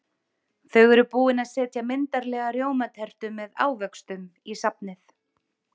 Þau eru búin að setja myndarlega rjómatertu með ávöxtum í safnið.